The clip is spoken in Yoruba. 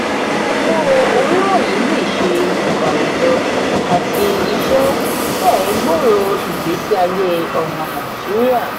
owó-orí wọnyi le ṣe ètò àwujọ àti iṣẹ fẹ̀ẹ́ gbòro igbesiaye ọmọ nàìjíríà.